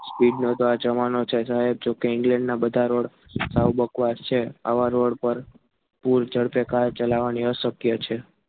speed નો તો આ જમાનો છે સાહેબ જો કે England ના બધા રોડ સાવ બકવાસ છે. આવા road પર તરફે કાર ચલાવી અશક્ય છે.